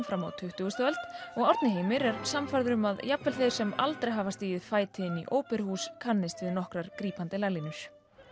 fram á tuttugustu öld og Árni Heimir er sannfærður um að jafnvel þeir sem aldrei hafa stigið fæti í óperuhús kannist við nokkrar grípandi laglínur